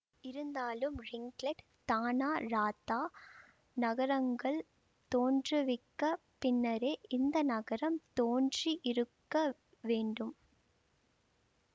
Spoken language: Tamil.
இருந்தாலும் ரிங்லெட் தானா ராத்தா நகரங்கள் தோன்றுவிக்கப் பின்னரே இந்த நகரம் தோன்றி இருக்க வேண்டும்